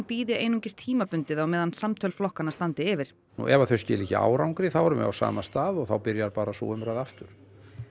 bíði einungis tímabundið á meðan samtöl flokkanna standi yfir ef þau skila ekki árangri þá erum við á sama stað og þá byrjar bara sú umræða aftur